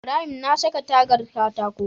Ibrahim na saka tagar katako